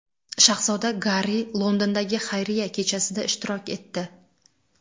Shahzoda Garri Londondagi xayriya kechasida ishtirok etdi.